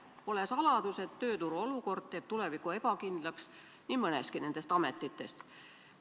Pole saladus, et tööturu olukord teeb nii tuleviku ebakindlaks päris mitme ameti pidajatel.